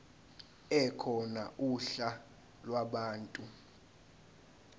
ekhona uhla lwabantu